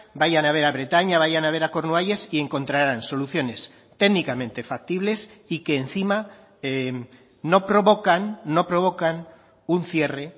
vayan a ver a bretaña vayan a ver a cornualles y encontrarán soluciones técnicamente factibles y que encima no provocan no provocan un cierre